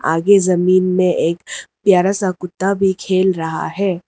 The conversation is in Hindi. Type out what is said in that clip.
आगे जमीन में एक प्यारा सा कुत्ता भी खेल रहा है।